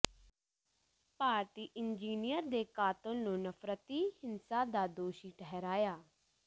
ਭਾਰਤੀ engineer ਦੇ ਕਾਤਲ ਨੂੰ ਨਫ਼ਰਤੀ ਹਿੰਸਾ ਦਾ ਦੋਸ਼ੀ ਠਹਿਰਾਇਆ